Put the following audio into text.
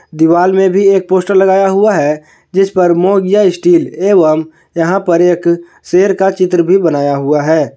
दीवाल में भी एक पोस्टर लगाया हुआ है जिस पर मोंगिया स्टील एवं यहां पर एक शेर का चित्र भी बनाया हुआ है।